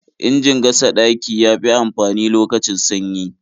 Injin gasa ɗaki ya fi amfani lokacin sanyi.